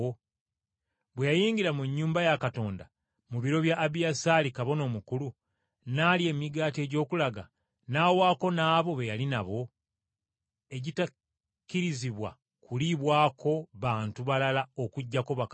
bwe yayingira mu nnyumba ya Katonda mu biro bya Abiyasaali kabona omukulu, n’alya emigaati egy’okulaga n’awaako n’abo be yali nabo, egitakkirizibwa kuliibwako bantu balala okuggyako bakabona.”